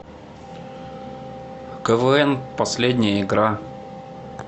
квн последняя игра